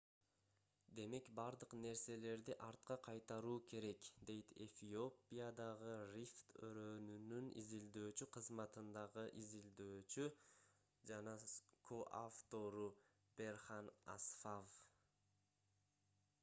демек бардык нерселерди артка кайтаруу керек - дейт эфиопиадагы рифт өрөөнүнүн изилдөөчү кызматындагы изилдөөчү жана со-автору берхан асфав